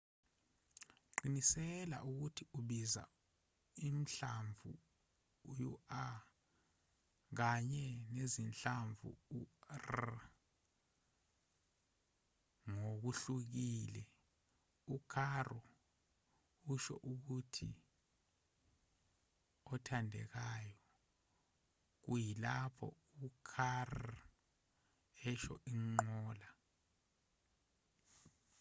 qiniseka ukuthi ubiza uhlamvu u-r kanye nezinhlamvu u-rr ngokuhlukile u-caro usho ukuthi othandekayo kuyilapho u-carro esho inqola